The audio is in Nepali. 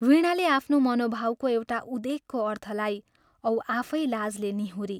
वीणाले आफ्नो मनोभावको एउटा उदेकको अर्थ लाई औ आफै लाजले निहुरी।